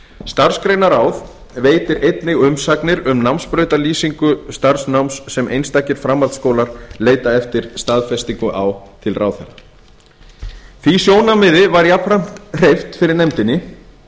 starfsgreinaráð veitir einnig umsagnir um námsbrautarlýsingu starfsnáms sem einstakir framhaldsskólar leita eftir staðfestingu á til ráðherra var því sjónarmiði jafnframt hreyft fyrir nefndinni